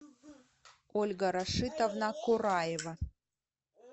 ольга рашитовна кураева